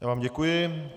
Já vám děkuji.